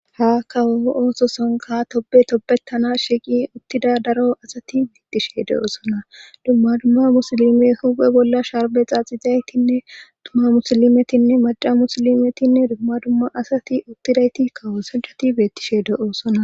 ha kawoo ooso sanka tobe tobetana shiiqi uttida daro asati bettishe de7oosona dumma dumma musilime huphe bolla sharbe xaaxizaytinne duma musilimetinne maja musilimetinne dumma dumma asati uttidayti kawo sancati bettishe de7oosona